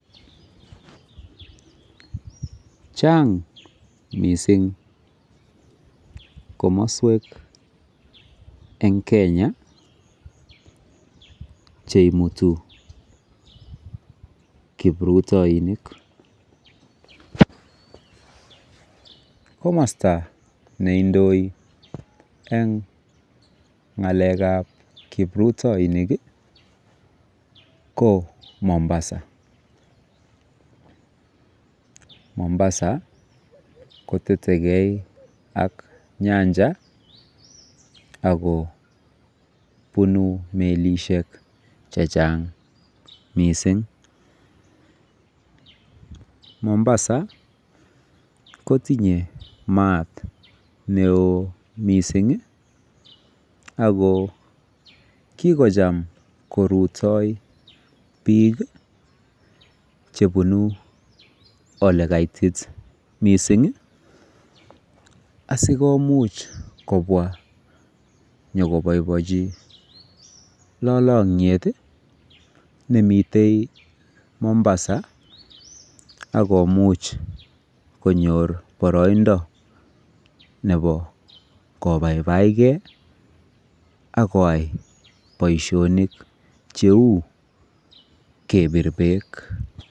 Chang' missing' komaswek eng' Kenya che imutu kiprutaininik. Komasta ne indoi eng' ng'alek ap kiprutainik ko Mombasa. Momabasa kotete ge ak nyanjet ole punu milishek che chang' missing'.Mombasa ko tinye maat ne oo missing' ako kikocham kurutai piik kopune ole kaitit. Missing' asi komuch kopwa nyu kopaipachi lalang'et ne mitei Mombasa ako much konyor paraindo nepo kopaipaitge ako yai poishonik che u kepir peek.